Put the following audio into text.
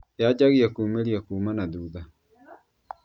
Yanjagia kũmĩrĩa kuma na thutha